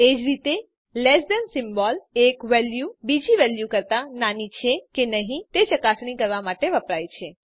એ જ રીતે less than symbol એક વેલ્યુ બીજી વેલ્યુ કરતા નાની છે કે નહી તે ચકાસણી કરવા માટે વપરાય છે